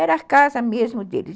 Era a casa mesmo deles.